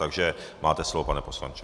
Takže máte slovo, pane poslanče.